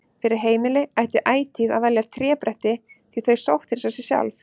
Fyrir heimili ætti ætíð að velja trébretti því þau sótthreinsa sig sjálf.